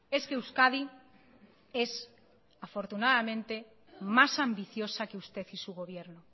es que euskadi es afortunadamente más ambiciosa que usted y su gobierno